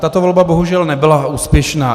Tato volba bohužel nebyla úspěšná.